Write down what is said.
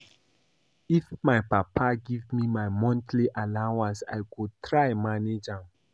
If my papa give me my monthly allowance I go try manage am